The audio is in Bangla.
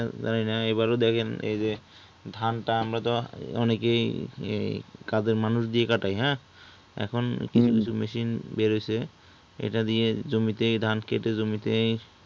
এইবার ও দেখেন এইযে ধানটা আমরা তো অনেকেই কাদের মানুষ দিয়ে কাটাই হ্যাঁ এখন কিছু কিছু machine বের হয়ছে এটা দিয়ে ধান কেটে জমিতে